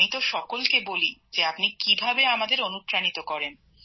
আমি তো সবাইকে বলি যে আপনি কিভাবে আমাদের অনুপ্রাণিত করেন